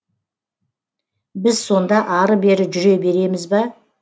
біз сонда ары бері жүре береміз ба